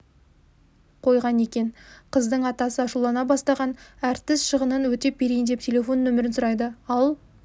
қойған екен қыздың атасы ашулана бастаған әртіс шығынын өтеп берейін деп телефон нөмірін сұрайды ал